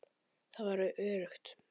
Það var öruggt.